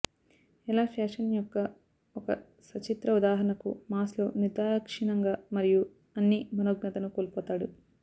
ఎలా ఫ్యాషన్ యొక్క ఒక సచిత్ర ఉదాహరణకు మాస్ లో నిర్దాక్షిణ్యంగా మరియు అన్ని మనోజ్ఞతను కోల్పోతాడు